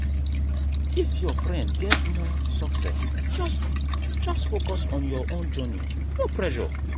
if your friend get more success just just focus on your own journey no pressure.